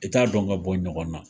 I t'a dɔn ka bɔ ɲɔgɔn na.